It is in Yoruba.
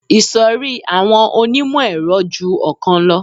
Ìṣòrí àwọn onímọ̀-ẹ̀rọ ju ọ̀kan lọ